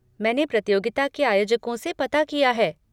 मैंने प्रतियोगिता के आयोजकों से पता किया है।